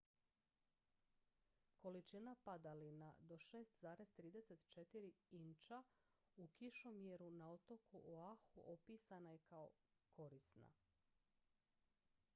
"količina padalina do 6,34 inča u kišomjeru na otoku oahu opisana je kao "korisna"".